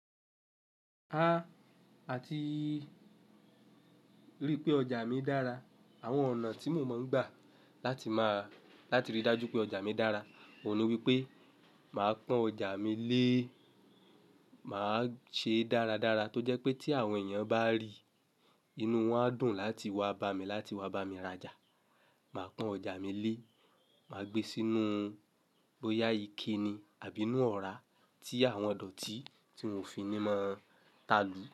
Àti ríi pé ọjà mi dára. Àwọn ọ̀nà tí mo mọ̀ ń gbà láti máa, láti ríi dájú pé ọjà mi dára, òun ni wípé màá pọ́n ọjà mi lé, màá ṣe é dáradára tó jẹ́ pé tí àwọn èèyàn bá rí i, inú wọn á dùn láti wá bá mi, láti wá bá mi rajà. Màá pọ́n ọjà mi lé, màá gbé e sínú bóyá ike ni àbí inú ọ̀rá tí àwọn ọ̀dọ̀tí tí wo fi ni máa ń ta lùú.